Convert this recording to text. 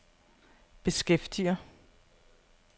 beskæftiger